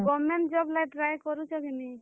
ଆଉ government job ଲାଗି try କରୁଛ କିନି?